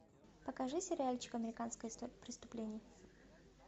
покажи сериальчик американская история преступлений